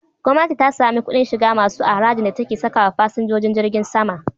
Gwamnati ta sami kuɗin shiga masu a harajin da take sakawa fasinjojin jirgin sama